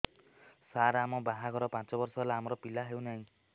ସାର ଆମ ବାହା ଘର ପାଞ୍ଚ ବର୍ଷ ହେଲା ଆମର ପିଲା ହେଉନାହିଁ